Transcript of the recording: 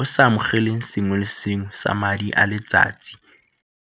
o sa amogeleng sengwe le sengwe sa madi a letsatsi.